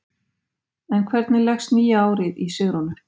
En hvernig leggst nýja árið í Sigrúnu?